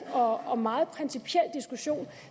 og meget principiel diskussion